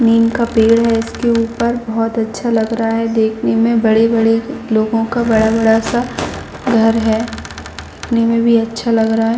नीम का पेड़ है इसके ऊपर बहुत अच्छा लग रहा है देखने मे बड़े - बड़े लोगों का बड़ा - बड़ा सा घर है देखने मे भी अच्छा लग रहा है।